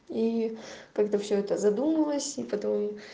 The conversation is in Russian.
и когда все это задумывалось и потом